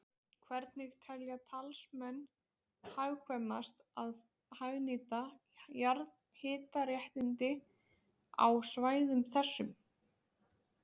Hvernig telja matsmenn hagkvæmast að hagnýta jarðhitaréttindi á svæðum þessum?